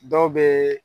Dɔw bɛ